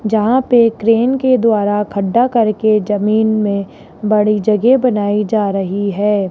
जहां पे क्रेन के द्वारा खड्डा करके जमीन में बड़ी जगह बनाई जा रही है।